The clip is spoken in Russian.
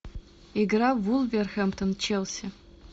игра вулверхэмптон челси